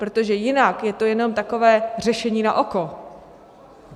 Protože jinak je to jenom takové řešení na oko.